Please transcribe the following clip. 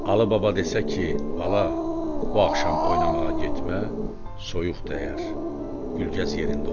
Alı baba desə ki, bala, bu axşam oynamağa getmə, soyuq dəyər, Gülgəz yerində oturar.